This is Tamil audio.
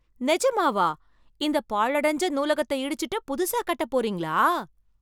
நிஜமாவா, இந்த பாழடைஞ்ச நூலகத்தை இடிச்சுட்டு புதுசா கட்ட போறீங்களா!